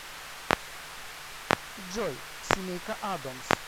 джой семейка адомс